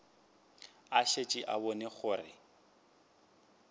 a šetše a bone gore